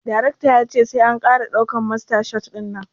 Darecta ya ce sai an kara daukan masta shot dinnan